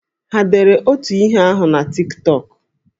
Ha dere otu ihe ahụ na Tik Tọk?